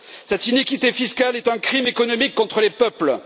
Cette iniquité fiscale est un crime économique contre les peuples.